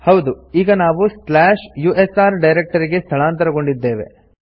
ಹೌದು ಈಗ ನಾವು ಸ್ಲಾಶ್ ಯುಎಸ್ಆರ್ ಡೈರೆಕ್ಟರಿಗೆ ಸ್ಥಳಾಂತರಗೊಂಡಿದ್ದೇವೆ